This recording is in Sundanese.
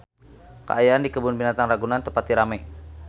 Kaayaan di Kebun Binatang Ragunan teu pati rame